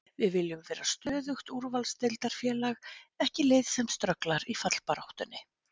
Við viljum vera stöðugt úrvalsdeildarfélag, ekki lið sem strögglar í fallbaráttunni.